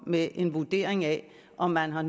med en vurdering af om man har